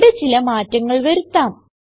ഇവിടെ ചില മാറ്റങ്ങൾ വരുത്താം